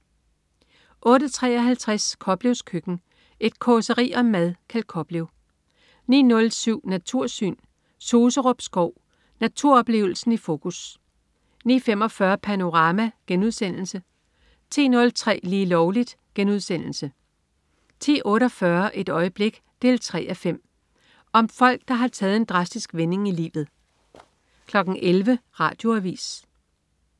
08.53 Koplevs Køkken. Et causeri om mad. Kjeld Koplev 09.07 Natursyn. Suserup Skov. Naturoplevelsen i fokus 09.45 Panorama* 10.03 Lige Lovligt* 10.48 Et øjeblik 3:5. Om folk der har taget en drastisk vending i livet 11.00 Radioavis